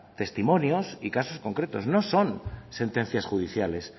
testimonios y casos concretos no son sentencias judiciales